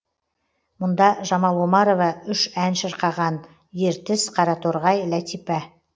мұнда жамал омарова үш ән шырқаған ертіс қараторғай ләтипа